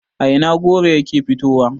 a Ina goro yake fitowa?